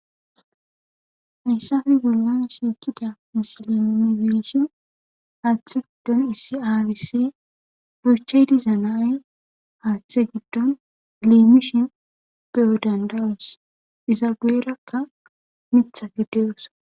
Hayssafi golla suukida misalanine beshi haaththe giddon isiarise burcheydi zanay haaththe giddon leemishi beyo dandawus izabeerakka mitha gideyosa.